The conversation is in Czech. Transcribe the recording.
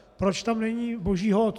Proč tam není Boží hod?